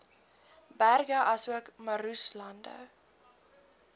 berge asook moeraslande